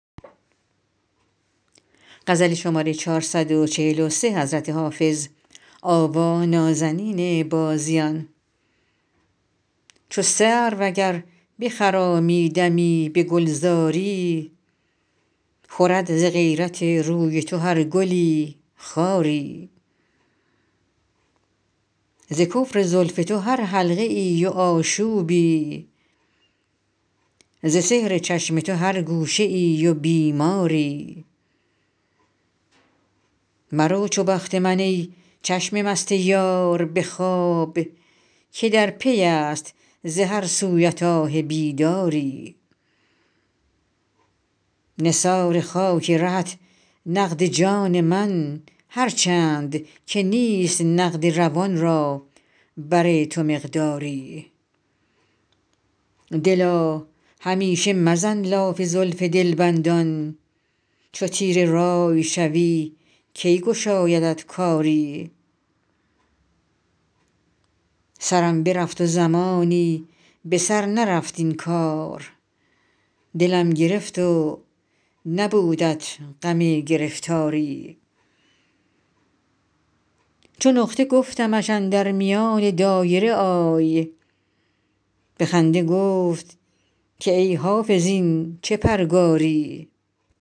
چو سرو اگر بخرامی دمی به گلزاری خورد ز غیرت روی تو هر گلی خاری ز کفر زلف تو هر حلقه ای و آشوبی ز سحر چشم تو هر گوشه ای و بیماری مرو چو بخت من ای چشم مست یار به خواب که در پی است ز هر سویت آه بیداری نثار خاک رهت نقد جان من هر چند که نیست نقد روان را بر تو مقداری دلا همیشه مزن لاف زلف دلبندان چو تیره رأی شوی کی گشایدت کاری سرم برفت و زمانی به سر نرفت این کار دلم گرفت و نبودت غم گرفتاری چو نقطه گفتمش اندر میان دایره آی به خنده گفت که ای حافظ این چه پرگاری